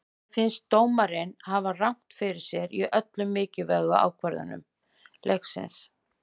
Mér fannst dómarinn hafa rangt fyrir sér í öllum mikilvægu ákvörðunum leiksins.